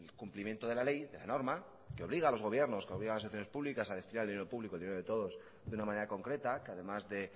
cumplimiento de la ley de la norma que obliga a los gobiernos a las administraciones públicas a destinar el dinero público el dinero de todos de una manera concreta que además que